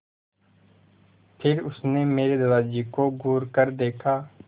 फिर उसने मेरे दादाजी को घूरकर देखा